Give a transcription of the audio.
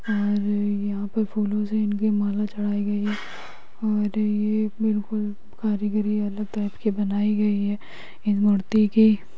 और यहाँ पे फूलों से इनकी माला चढ़ाई गयी हैं और ये बिलकुल कारीगिरी टाइप की बनाई गई है ये मूर्ती के --